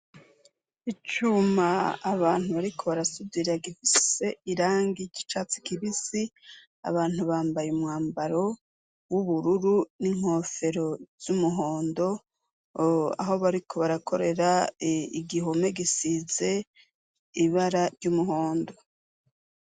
Icuma abantu ariko barasudira gifise irangi ry'icatsi kibisi abantu bambaye umwambaro w'ubururu n'inkofero z'umuhondo aho bariko barakorera igihome gisize ibara ry'umuhondo.